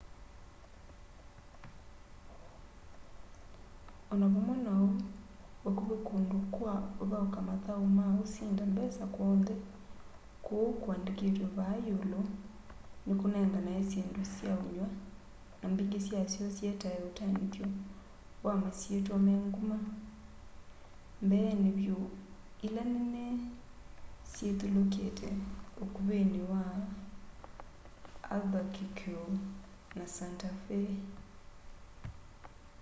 o na vamwe na uu vakuvi kundu kwa uthauka mathau ma usinda mbesa kw'onthe kuu kuandikitwe vaa iulu nikunenganae syindu sya unyw'a na mbingi syasyo sietae utaniuthyo wa masyitwa me nguma mbeeni vyu ila nene sithyulukite ukuvini wa albuquerque na santa fe